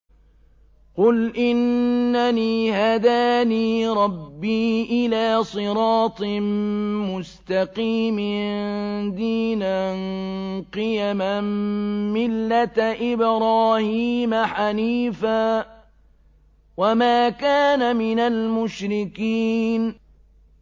قُلْ إِنَّنِي هَدَانِي رَبِّي إِلَىٰ صِرَاطٍ مُّسْتَقِيمٍ دِينًا قِيَمًا مِّلَّةَ إِبْرَاهِيمَ حَنِيفًا ۚ وَمَا كَانَ مِنَ الْمُشْرِكِينَ